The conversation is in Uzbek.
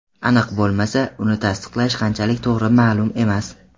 Aniq bo‘lmasa, uni tasdiqlash qanchalik to‘g‘ri ma’lum emas.